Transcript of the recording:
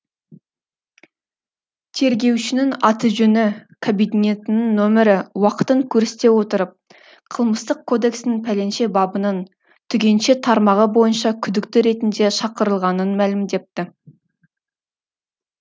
тергеушінің аты жөні кабинетінің нөмірі уақытын көрсете отырып қылмыстық кодекстің пәленше бабының түгенше тармағы бойынша күдікті ретінде шақырылғанын мәлімдепті